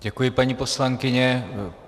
Děkuji, paní poslankyně.